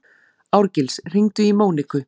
Árgils, hringdu í Móníku.